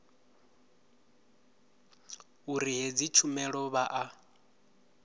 uri hedzi tshumelo vha a